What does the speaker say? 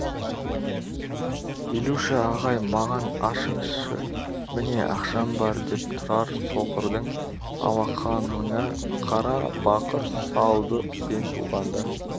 илюша ағай маған ашыңызшы міне ақшам бар деп тұрар соқырдың алақаныңа қара бақыр салды сен туғанда